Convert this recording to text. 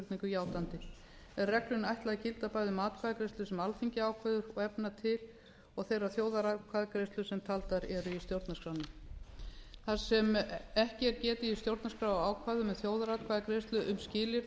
játandi er reglunni ætlað að gilda bæði um atkvæðagreiðslu sem alþingi ákveður og efna til og þeirrar þjóðaratkvæðagreiðslu sem taldar eru í stjórnarskránni þar sem ekki er getið í stjórnarskrárákvæðum um þjóðaratkvæðagreiðslu um skilyrði um